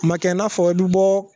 Ma kɛ i n'a fɔ i bɛ bɔ